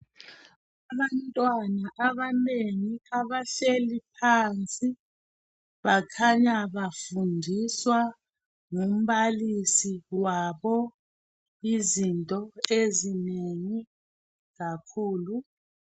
Abantwana abanengi abahleli phansi bakhanya bafundiswa ngumbalisi wabo izinto ezinengi kakhulu.